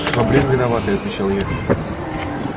швабрин виноватый отвечал я